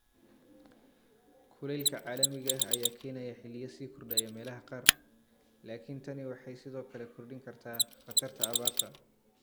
Kulaylka caalamiga ah ayaa keenaya xilliyo sii kordhaya meelaha qaar, laakiin tani waxay sidoo kale kordhin kartaa khatarta abaarta.